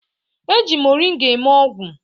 E ji moringa eme ọgwụ